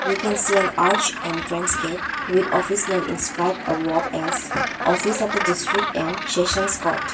We can see an arch entrance gate with office name inscribed above as office of the district and sessions court.